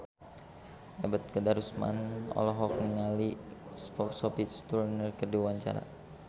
Ebet Kadarusman olohok ningali Sophie Turner keur diwawancara